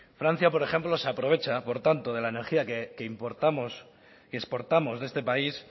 francia por ejemplo se aprovecha por tanto de la energía que exportamos de este país